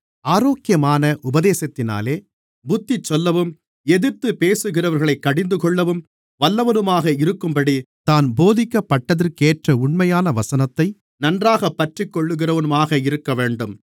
ஆரோக்கியமான உபதேசத்தினாலே புத்திசொல்லவும் எதிர்த்து பேசுகிறவர்களைக் கடிந்துகொள்ளவும் வல்லவனுமாக இருக்கும்படி தான் போதிக்கப்பட்டதற்கேற்ற உண்மையான வசனத்தை நன்றாகப் பற்றிக்கொள்ளுகிறவனுமாக இருக்கவேண்டும்